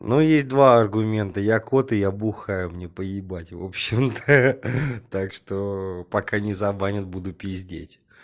ну есть два аргумента я кот и я бухаю мне по ебать в общем-то ха ха ха так что пока не забанят буду пиздеть